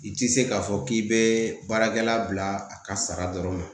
I te se ka fɔ k'i be baarakɛla bila a ka sara dɔrɔn ma.